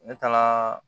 Ne taga